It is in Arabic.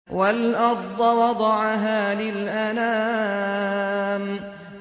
وَالْأَرْضَ وَضَعَهَا لِلْأَنَامِ